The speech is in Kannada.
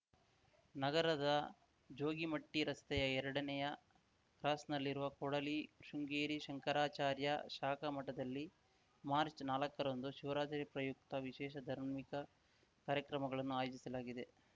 ನಗರದ ಜೋಗಿಮಟ್ಟಿರಸ್ತೆಯ ಎರಡನೇಯ ಕ್ರಾಸ್‌ನಲ್ಲಿರುವ ಕೊಡಲಿ ಶೃಂಗೇರಿ ಶಂಕರಾಚಾರ್ಯ ಶಾಖಾ ಮಠದಲ್ಲಿ ಮಾರ್ಚ್ನಾಲ್ಕರಂದು ಶಿವರಾತ್ರಿ ಪ್ರಯುಕ್ತ ವಿಶೇಷ ಧಾರ್ಮಿಕ ಕಾರ್ಯಕ್ರಮಗಳನ್ನು ಆಯೋಜಿಸಲಾಗಿದೆ